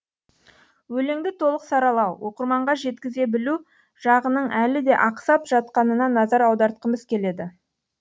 өлеңді толық саралау оқырманға жеткізе білу жағының әлі де ақсап жатқанына назар аудартқымыз келеді